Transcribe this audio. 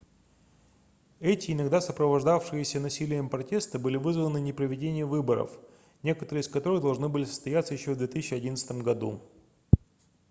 эти иногда сопровождавшиеся насилием протесты были вызваны непроведением выборов некоторые из которых должны были состояться ещё в 2011 году